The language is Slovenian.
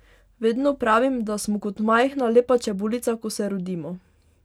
Vedno pravim, da smo kot majhna, lepa čebulica, ko se rodimo.